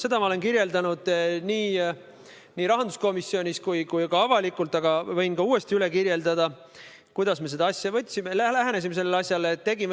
Seda olen ma kirjeldanud nii rahanduskomisjonis kui ka avalikkuse ees, aga võin uuesti üle rääkida, kuidas me sellele asjale lähenesime.